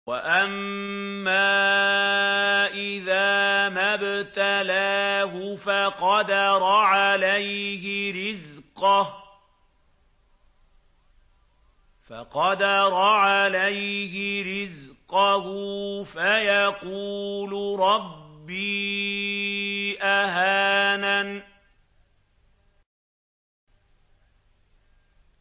وَأَمَّا إِذَا مَا ابْتَلَاهُ فَقَدَرَ عَلَيْهِ رِزْقَهُ فَيَقُولُ رَبِّي أَهَانَنِ